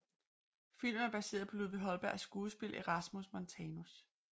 Filmen er baseret på Ludvig Holbergs skuespil Erasmus Montanus